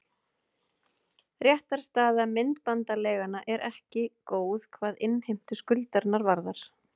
Réttarstaða myndbandaleiganna er ekki góð hvað innheimtu skuldarinnar varðar.